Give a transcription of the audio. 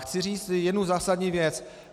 Chci říct jednu zásadní věc.